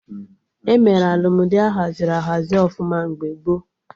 Emere Alụmdi ahaziri ahazi ọfụma mgbe gboo